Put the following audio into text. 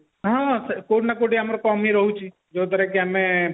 ହଁ କୋଉଠି ନା କୋଉଠି ଆମର କମିରହୁଛି ଯାହା ଦ୍ଵାରାକି ଆମେ